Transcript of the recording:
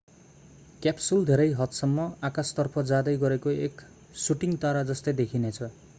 capsule धेरै हदसम्म आकाशतर्फ जाँदै गरेको एक शूटिंग तारा जस्तै देखिनेछ